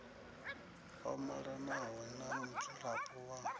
o malanaho na mudzulapo wa